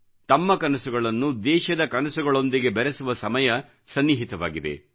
ತಮ್ಮ ಕನಸುಗಳನ್ನು ದೇಶದ ಕನಸುಗಳೊಂದಿಗೆ ಬೆರೆಸುವ ಸಮಯ ಸನ್ನಿಹಿತವಾಗಿದೆ